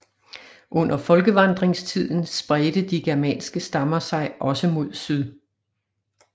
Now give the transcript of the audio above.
Under folkevandringstiden spredte de germanske stammer sig også mod syd